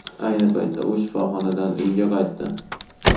Ayni paytda u shifoxonadan uyiga qaytdi.